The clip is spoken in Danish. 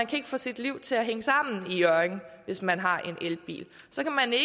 kan få sit liv til at hænge sammen i hjørring hvis man har en elbil så kan